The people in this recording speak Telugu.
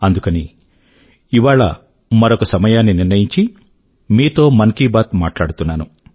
అందుకని ఇవాళ మరొక సమయాన్ని నిర్ణయించి మీతో మన్ కీ బాత్ మాట్లాడుతున్నాను